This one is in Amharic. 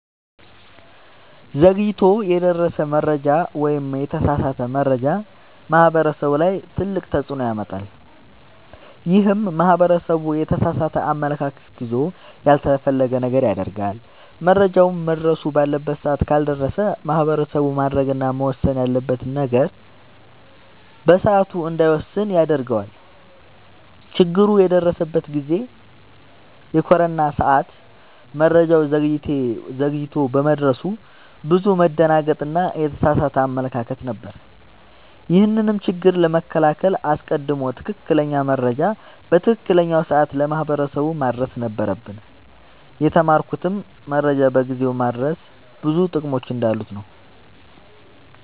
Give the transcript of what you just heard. ዘግይቶ የደረሰ መረጃ ወይም የተሳሳተ መረጃ ማህበረሰቡ ላይ ትልቅ ተፅዕኖ ያመጣል። ይህም ማህበረሰቡ የተሳሳተ አመለካከት ይዞ ያልተፈለገ ነገር ያደርጋል። መረጃውም መድረስ ባለበት ሰዓት ካልደረሰ ማህበረሰቡ ማድረግ እና መወሰን ያለበትን ነገር በሰዓቱ እንዳይወስን ያደርገዋል። ችግር የደረሰበት ጊዜ የኮሮና ሰዓት መረጃው ዘግይቶ በመድረሱ ብዙ መደናገጥ እና የተሳሳተ አመለካከት ነበር። ይህንንም ችግር ለመከላከል አስቀድሞ ትክክለኛ መረጃ በትክክለኛው ሰዓት ለማህበረሰቡ ማድረስ ነበረብን። የተማርኩትም መረጃን በጊዜው ማድረስ ብዙ ጥቅሞች እንዳሉት ነወ።